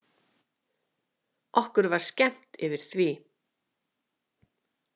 Okkur var skemmt yfir því.